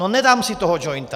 No nedám si toho jointa!